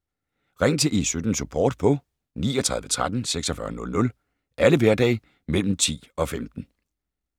Ring til E17-Support på 39 13 46 00 alle hverdage mellem kl. 10 og 15